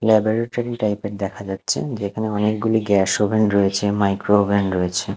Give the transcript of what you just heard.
Laboratory type -এর দেখা যাচ্ছে যেখানে অনেকগুলি গ্যাস ওভেন রয়েছে মাইক্রোওভেন রয়েছে।